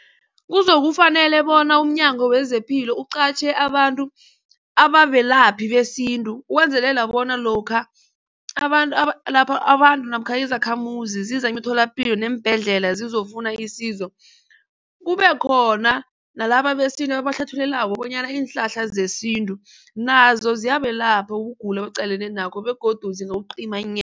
Kuzokufanele bona umnyango wezepilo uqatjhe abantu ababelaphi besintu ukwenzelela bona lokha abantu abantu namkha izakhamuzi ziza emitholapilo neembhedlela zizokufuna isizo kube khona nalaba besintu babahlathululako bonyana iinhlahla zesintu nazo ziyabelapha ukugula abaqalene nakho begodu